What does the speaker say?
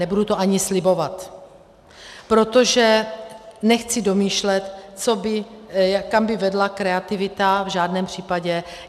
Nebudu to ani slibovat, protože nechci domýšlet, kam by vedla kreativita, v žádném případě.